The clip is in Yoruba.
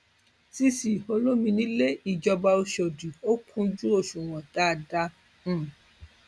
cc olomini lè jọba ọṣọdì ó kúnjú òṣùwọn dáadáa um